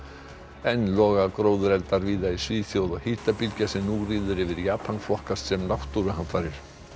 enn loga gróðureldar víða í Svíþjóð og hitabylgja sem nú ríður yfir Japan flokkast sem náttúruhamfarir